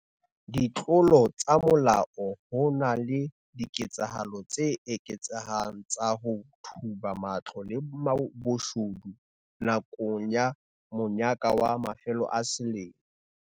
Ditlolo tsa molao Ho na le diketsahalo tse eketsehang tsa ho thuba matlong le boshodu nakong ya monyaka wa mafelo a selemo.